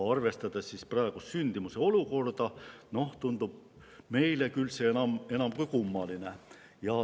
Arvestades praegust sündimuse olukorda tundub see meile küll enam kui kummaline.